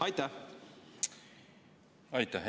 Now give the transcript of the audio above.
Aitäh!